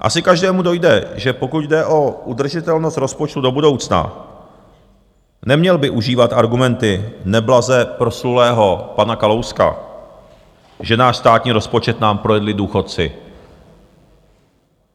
Asi každému dojde, že pokud jde o udržitelnost rozpočtu do budoucna, neměl by užívat argumenty neblaze proslulého pana Kalouska, že náš státní rozpočet nám projedli důchodci.